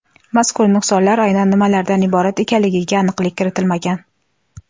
Mazkur nuqsonlar aynan nimalardan iborat ekanligiga aniqlik kiritilmagan.